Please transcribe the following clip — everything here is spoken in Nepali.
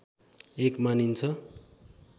एक मानिन्छ